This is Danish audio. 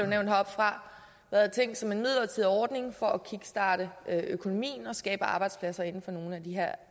nævnt heroppefra været tænkt som en midlertidig ordning for at kickstarte økonomien og skabe arbejdspladser inden for nogle af de her